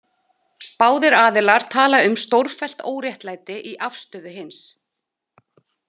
Báðir aðilar tala um stórfellt óréttlæti í afstöðu hins.